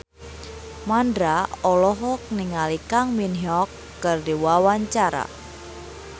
Mandra olohok ningali Kang Min Hyuk keur diwawancara